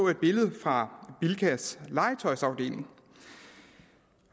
et billede fra bilkas legetøjsafdeling